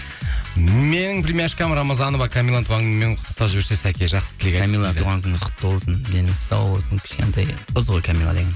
менің племяшкам рамазанова камиланың туған күнімен құттықтап жіберсе сәке жақсы тілек туған күніңіз құтты болсын деніңіз сау болсын кішкентай қыз ғой камила деген